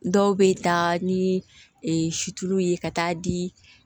Dɔw bɛ taa ni ye ka taa di